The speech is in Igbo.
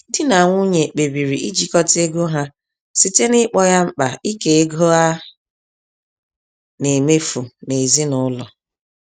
Di na nwunye kpebiri ijikọta ego ha site n'ịkpọ ya mkpa ike ego a na-emefu n'ezinụlọ